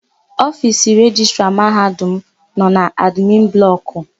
Ofiisi Rejistra Mahadum m nọ n'admin blọkụ.